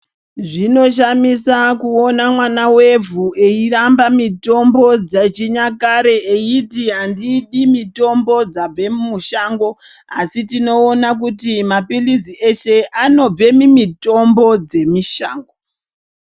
Zvinoshamisa kuona mwana wevhu eiramba mitombo dzechinyakare eiti andidi mitombo dzabva mushango asi tinoona kuti mapirizi eshe anobva mumitombo dzemushango.